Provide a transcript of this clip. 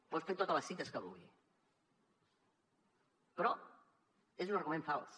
pot fer totes les cites que vulgui però és un argument fals